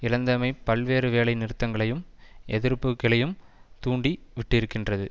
இழந்தமை பல்வேறு வேலை நிறுத்தங்களையும் எதிர்ப்புக்களையும் தூண்டி விட்டிருக்கின்றது